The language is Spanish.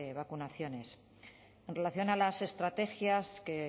vacunaciones en relación a las estrategias que